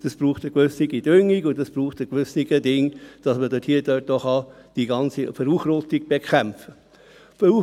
Das braucht eine gewisse Düngung und das braucht ein gewisses Etwas, dass man dort auch die ganze Verunkrautung bekämpfen kann.